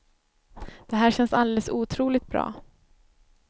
Det här känns alldeles otroligt bra.